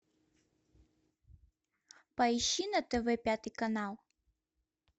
поищи на тв пятый канал